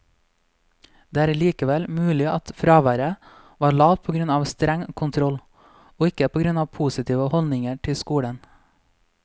Det er likevel mulig at fraværet var lavt på grunn av streng kontroll, og ikke på grunn av positive holdninger til skolen.